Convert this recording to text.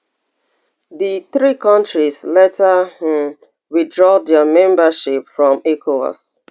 di three kontris later um withdraw dia membership from ecowas